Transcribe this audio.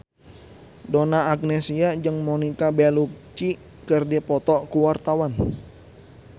Donna Agnesia jeung Monica Belluci keur dipoto ku wartawan